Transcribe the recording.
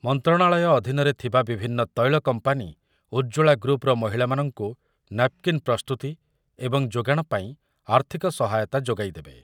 ମନ୍ତ୍ରଣାଳୟ ଅଧୀନରେ ଥିବା ବିଭିନ୍ନ ତୈଳ କମ୍ପାନୀ ଉଜ୍ଜ୍ବଳା ଗ୍ରୁପ୍‌ର ମହିଳାମାନଙ୍କୁ ନାପ୍‌କିନ୍ ପ୍ରସ୍ତୁତି ଏବଂ ଯୋଗାଣପାଇଁ ଆର୍ଥିକ ସହାୟତା ଯୋଗାଇଦେବେ ।